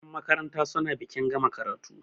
yanmakaranta suna bikin gama karatu